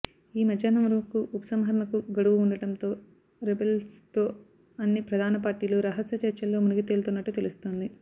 ఈ మధ్యాహ్నం వరకు ఉపసంహరణకు గడవు ఉండడంతో రెబల్స్తో అన్ని ప్రధాన పార్టీలు రహస్య చర్చల్లో మునిగి తేలుతున్నట్టు తెలుస్తోంది